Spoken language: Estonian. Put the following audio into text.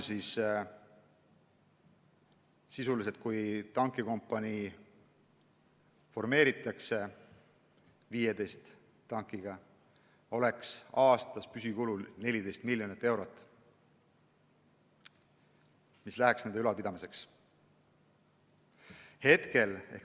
Kui tankikompanii formeeritakse 15 tankiga, oleks aastane püsikulu 14 miljonit eurot – see läheks nende ülalpidamiseks.